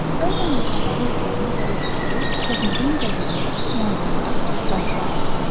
Bəzən insanların özlərinin səbəb olduğu texnogen qəzalar, yanğınlar, partlayışlar baş verir.